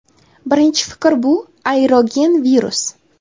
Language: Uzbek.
Birinchi fikr bu – aerogen virus.